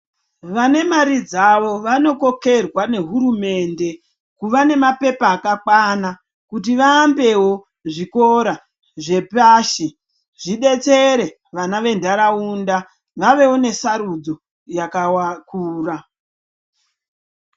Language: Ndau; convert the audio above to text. Vanemari dzavo , vanokhokherwa nehurumende kuva nemapepha akakwana kuti vahambewo zvikora zvepashi zvidetsere vana vendarawunda vavewo nesarudzo yakakura.